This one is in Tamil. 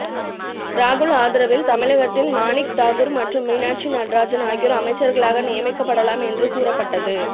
ராகுல் ஆதரவில் தமிழகத்தின் மாணிக் தாகூர் மற்றும் மீனாட்சி நடராஜன் ஆகியோர் அமைச்சர்களாக நியமிக்கப்படலாம் என்று கூறபட்டது